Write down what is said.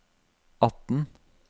atten